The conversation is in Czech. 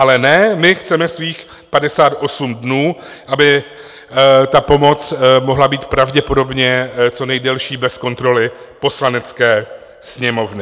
Ale ne, my chceme svých 58 dnů, aby ta pomoc mohla být pravděpodobně co nejdelší bez kontroly Poslanecké sněmovny.